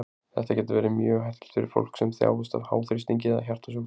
þetta getur verið mjög hættulegt fyrir fólk sem þjáist af háþrýstingi eða hjartasjúkdómum